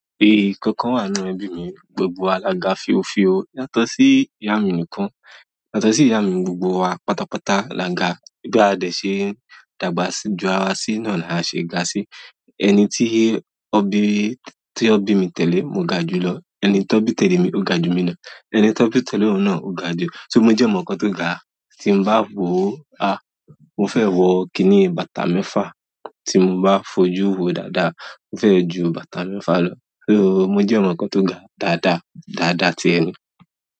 Nkankan wà nínú ẹbi mi gbogbo wa la ga fi ó fi o, latosi ìyá mi nìkan, latosi ìyá mi gbogbo wa pátápátá la ga, bí a de ṣe dàgbà sí jù ara wa sí náà la ṣe ga sí, ẹni tí ó bí, tí ó bí mi tẹ́lẹ̀, mo ga jùlọ, ẹni tó bí tẹ́lẹ̀ mi ó gaju mi lọ, ẹni tó bí tẹ́lẹ̀ ohun náà ó ga jù, mo jẹ́ ọmọ kan tó ga, tí n bá wo a, mo fẹ́ wo kini bàtà mẹfa, tí n bá fojuwo dada mo fẹ́ jù bàtà mẹfa lọ, sọ mo jẹ́ ọmọ kan tó ga dada, dada ti ẹni.